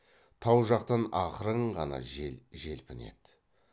тау жақтан ақырын ғана жел желпінеді